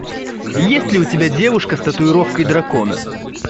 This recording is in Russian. есть ли у тебя девушка с татуировкой дракона